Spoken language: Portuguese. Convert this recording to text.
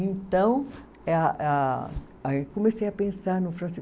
Então, eh a a, aí comecei a pensar no francês.